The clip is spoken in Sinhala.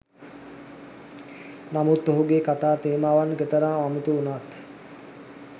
නමුත් ඔහුගේ කතා තේමාවන් කෙතරම් අමුතු වුණත්